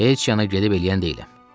Heç yana gedib eləyən deyiləm.